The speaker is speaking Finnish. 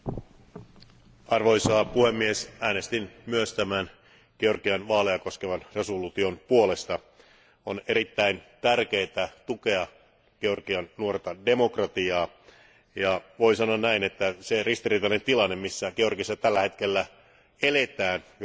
Arvoisa puhemies, äänestin myös tämän Georgian vaaleja koskevan päätöslauselman puolesta. On erittäin tärkeää tukea Georgian nuorta demokratiaa, ja voi sanoa näin, että se ristiriitainen tilanne, missä Georgiassa tällä hetkellä eletään, johtuen Venäjän